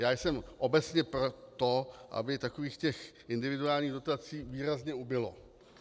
Já jsem obecně pro to, aby takových těch individuálních dotací výrazně ubylo.